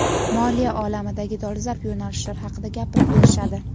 moliya olamidagi dolzarb yo‘nalishlar haqida gapirib berishadi.